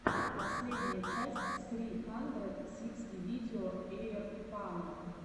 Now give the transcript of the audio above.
последняя часть сри хандрэд сиксти видео эйрпано